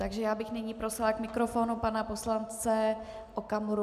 Takže já bych nyní prosila k mikrofonu pana poslance Okamuru.